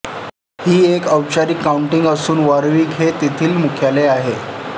ही एक औपचारिक काउंटी असून वॉरविक हे येथील मुख्यालय आहे